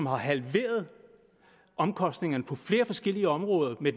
har halveret omkostningerne på flere forskellige områder